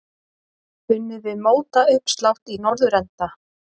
Unnið við mótauppslátt í norðurenda.